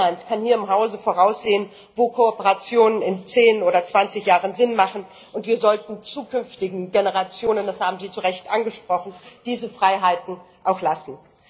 Niemand kann hier im Hause voraussehen, wo Kooperationen in 10 oder 20 Jahren Sinn machen und wir sollten zukünftigen Generationen das haben Sie zurecht angesprochen diese Freiheiten auch lassen.